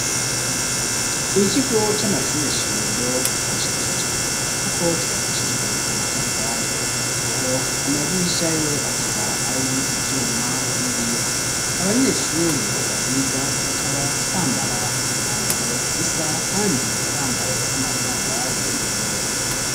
Ikigo, c'amashure shingiro, kirashajije; kuko cubakishijwe amatafari; naho amadirisha yo, akaba ari ivyuma n'ibiyo; abanyeshure bahiga, bakaba bambara imyambaro isa, kandi bambaye n'amasandari, mu birenge.